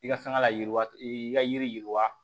I ka fɛn ka layiriwa i ka yiri yiriwa